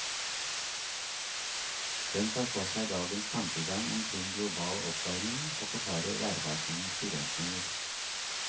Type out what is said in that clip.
Den tar for seg dagens tankegang omkring global oppvarming og forklarer værvarslingens begrensninger.